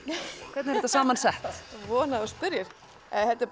hvernig er þetta saman sett von að þú spyrjir þetta er